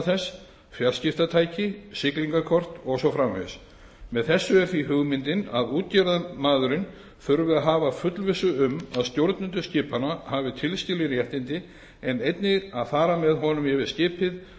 þess fjarskiptatæki siglingakort og svo framvegis með þessu er því hugmyndin að útgerðarmaðurinn þurfi að hafa fullvissu um að stjórnendur skipanna hafi tilskilin réttindi en einnig að fara með honum yfir skipið